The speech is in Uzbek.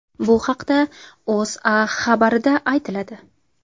Bu haqda O‘zA xabarida aytiladi .